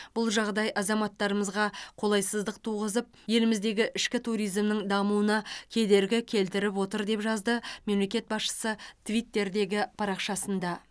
бұл жағдай азаматтарымызға қолайсыздық туғызып еліміздегі ішкі туризмнің дамуына кедергі келтіріп отыр деп жазды мемлекет басшысы твиттердегі парақшасында